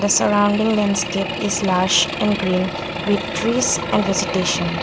surrounding landscape is large in green with trees and vegetation.